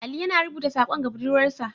Ali yana rubuta sakon ga budurwarsa.